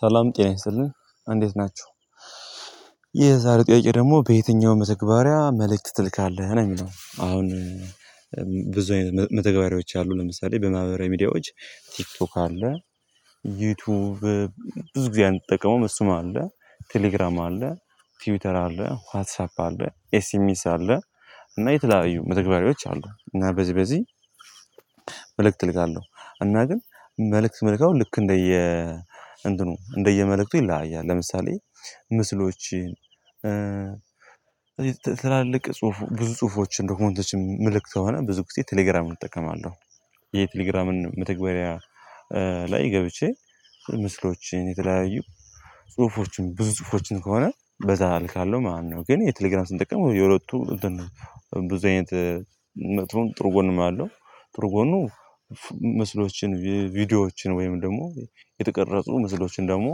ሰላም ጤና ይስጥልኝ እንዴት ናችሁ የዛሬው ጥያቄ ደግሞ በየትኛውም መተግበሪያ መልእክት ትልካለህ ነው የሚለው? ብዙ አይነት መተግበሪያዎች አሉ ለምሳሌ በማህበራዊ ሚዲያዎች ቲክቶክ አለ። ዩቲዩብ ብዙ ጊዜ አንጠቀመውም እሱም አለ። ቴሌግራም አለ። ቲውተር አለ ዋትሳፕ አለ ኤስኤምኤስ አለ። እና የተለያዩ መተግበሪዎች አሉ እና በዚህ በዚህ መልእክት እልካለሁ። እና ግን መልእክት ምልከው ልክ እንደየ እንደየ እንደየ መልእክት ይለያያል። ለምሳሌ ምስሎች ትላልቅ ብዙ ጽሁፎችን ዶክሞንቶችን ምልክት ከሆነ ብዙ ጊዜ ቴሌግራም እጠቀማለሁ። የቴሌግራምን መተግበሪያ ላይ ገብቼ ምስሎችን የተለያየ ጽሁፎችን ብዙ ጽሁፎችን ከሆነ በዛ አልካለሁ ማለት ነው። ግን የቴሌግራም ስንጠቀም የሁለቱ ብዙ አይነት መጥፎን ጥሩ ጎን ነው ያለው ጥሩ ጎኑ ምስሎችን ቪዲዮዎችን ወይም ደግሞ የተቀረጹ ምስሎችን ደግሞ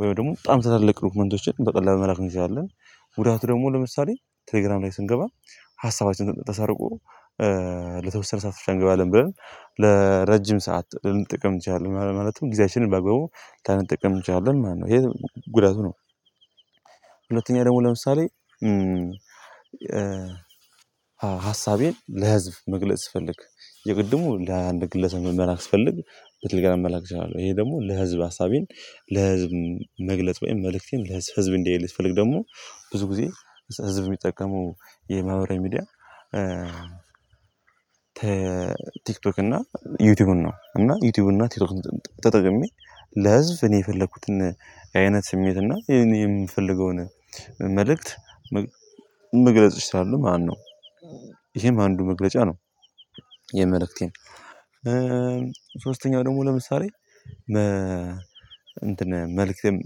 ወይም ደግሞ በጣም ስታልቅ ዶክመንቶችን በቀላሉ መላክ እንችላለን። ጉዳቱ ደግሞ ለምሳሌ ቴሌግራም ላይ ስንገባ ሀሳባችን ተሰርቆ ለተወሰነ ሰዓት ብቻ እንገባለን ብለን ለረጅም ሰዓት ልንጠቀም ትችላለህ ማለት ነው ጊዜያችንን በአግባቡ ላንጠቀም ትንችላለን ማለት ነው ይሄ ጉዳቱ ነው። ሁለተኛ ደግሞ ለምሳሌ ሀሳቤን ለህዝብ መግለጽ ስፈልግ የቅድሙ ለአንድ ግለሰብ መላክ ስፈልግ በቴሌግራም መላክ እችላለሁ። ይሄ ደግሞ ለህዝብ ሀሳቤን ለህዝብ መግለጥ ወይም መልእክቴን ለህዝብ ህዝብ እንዲያይልኝ ስፈልግ ደግሞ ብዙ ጊዜ ህዝብ የሚጠቀመው የማህበራዊ ሚዲያ ቲክቶክ እና ዩቲዩብን ነው። እና ዩቲዩብ እና ቲክቶክ ተጠቅሜ ለህዝብ እኔ የፈለኩትን አይነት ስሜት እና የምፈልገውን መልእክት መግለጽ እችላለው ማነው ይሄም አንዱ መግለጫ ነው። የመልእክቴን ሶስተኛው ደግሞ ለምሳሌ መልእክቴን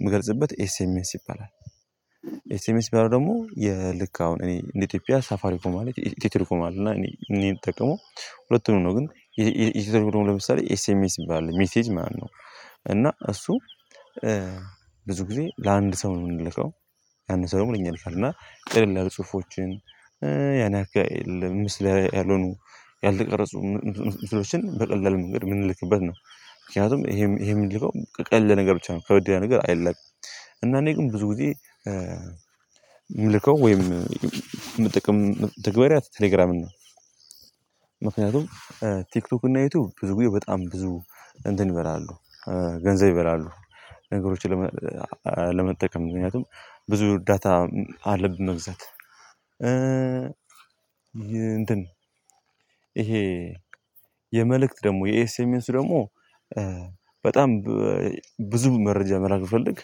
የምገልጽበት ኤስኤምኤስ ይባላል። ኤስኤምኤስ የተባለው ደግሞ ልክ አሁን እኔ እንደ ኢትዮጵያ ሳፋሪኮም አለ ኢትዮቴሌኮም እና እኔ የምጠቀመው ሁለቱንም ነው። ግን ይሄኛው ለምሳሌ ኤስኤምኤስ ባለው ሜሴጅ ማነው እና እሱ ብዙ ጊዜ ለአንድ ሰው ነው የምንልከው ያንን ሰው ደግሞ ለኛ ይልካል እና ቀለል ያሉ ጽሁፎችን ያን አካል ምስል ያልሆኑ ያልተቀረጹ ምስሎችን በቀላል መንገድ የምንልክበት ነው። ምክንያቱም ይሄ ይሄ የምንልከው ቀለል ያል ነገር ብቻ ነው ከበድ ያል ነገር አይላክም። እና እኔ ግን ብዙ ጊዜ ምልከው ወይም ምጠቀመው መተግበሪያ ቴሌግራም ነው። ምክንያቱም ቲክቶክ እና ዩቲዩብ ብዙ ብዬ በጣም ብዙ ገንዘብ ይበላሉ። ገንዘብ ይበላሉ ነገሮችን ለመጠቀም ምክንያቱም ብዙ ዳታ አለብን መግዛት እንትን ይሄ የመልእክት ደግሞ የኤስኤምኤስ ደግሞ በጣም ብዙ መረጃ መላክ ብፈልግ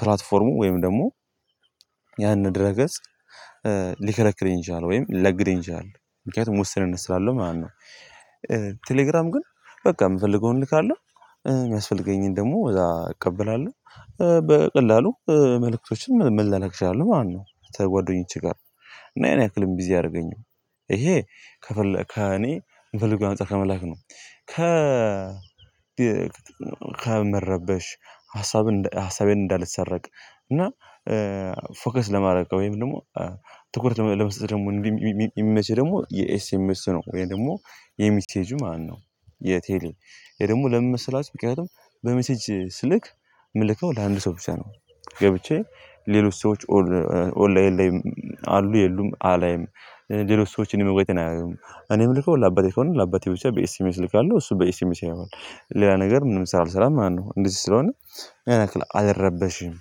ፕላትፎርሙ ወይም ደግሞ ያንን ድረ ገጽ ሊከለክለኝ ይችላል። ምክንያቱም ውስንነት ስላለው ማለት ነው። ቴሌግራም ግን በቃ የምፈልገውን እልካለው የሚያስፈልገኝን ደግሞ እዛ እቀበላለሁ በቀላሉ መልእክቶችን መላላክ እችላለው ማለት ነው። ከጓደኞቼ ጋር እና ያን ያክልም ቢዚ አያደርገኝም። ይሄ ከፈለ ከእኔ የምፈልገው አንፃር ከመላክ ነው ከ ከመረበሽ ሀሳብ ሀሳቤን እንዳለሰረቅ እና ፎከስ ለማድረግ ወይም ደግሞ ትኩረት ለመስጠት ደግሞ የሚመቸኝ ደግሞ የኤስኤምኤሱ ነው። ወይ ደግሞ የሚሴጁ ማነው? የቴሌ ይሄ ደግሞ ለምን መሰላችሁ ምክንያቱም በሜሴጅ ስልክ ምልከው ለአንድ ሰው ብቻ ነው። ገብቼ ሌሎች ሰዎች ኦንላይን ላይም አሉ የሉም አላይም ሌሎች ሰዎች እኔ መግባቴን አያዩም። እኔም ልከው ለአባቴ ከሆነ ለአባቴ ብቻ በኤስኤምኤስ እልካለሁ እሱ በኤስኤምኤስ ይልካል ሌላ ነገር ምንም ሳልሰራ ማለት ነው። እንደዚህ ስለሆነ ያን ያክል አልረበሽም።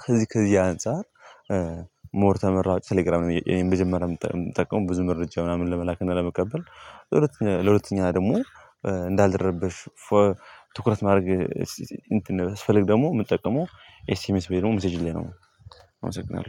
ከዚህ ከዚህ አንፃር ሞር ተመራጭ ቴሌግራም የመጀመሪያ የምጠቀመው ብዙ መረጃ ምናምን ለመላክ እና ለመቀበል። ለሁለተኛ ደግሞ እንዳልረብሽ ትኩረት ማድረግ እንትን ስፈልግ ደግሞ የምጠቀመው ኤስኤምኤስ ብዬ ደግሞ ሚሴጁ ላይ ነው። አመሰግናለው